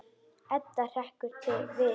Edda hrekkur við.